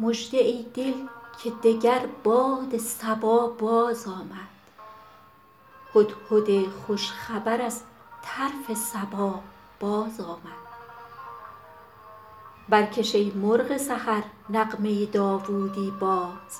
مژده ای دل که دگر باد صبا بازآمد هدهد خوش خبر از طرف سبا بازآمد برکش ای مرغ سحر نغمه داوودی باز